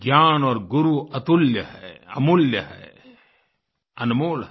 ज्ञान और गुरु अतुल्य है अमूल्य है अनमोल है